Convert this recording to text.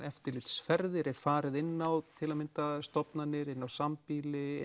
eftirlitsferðir er farið inn á til að mynda stofnanir inn á sambýli